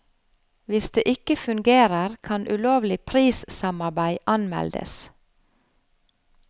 Hvis det ikke fungerer, kan ulovlig prissamarbeid anmeldes.